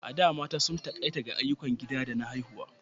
A da, mata sun takaita ga ayyukan gida da haihuwa.